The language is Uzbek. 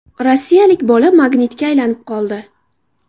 Rossiyalik bola magnitga aylanib qoldi.